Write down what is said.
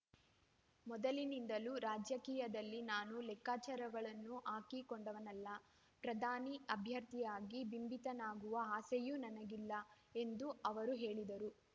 ಮೊದಲಿನಿಂದಲೂ ರಾಜಕೀಯದಲ್ಲಿ ನಾನು ಲೆಕ್ಕಾಚಾರಗಳನ್ನು ಹಾಕಿಕೊಂಡವನಲ್ಲ ಪ್ರಧಾನಿ ಅಭ್ಯರ್ಥಿಯಾಗಿ ಬಿಂಬಿತವಾಗುವ ಆಸೆಯೂ ನನಗಿಲ್ಲ ಎಂದು ಅವರು ಹೇಳಿದರು